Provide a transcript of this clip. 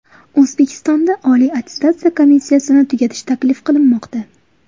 O‘zbekistonda Oliy attestatsiya komissiyasini tugatish taklif qilinmoqda.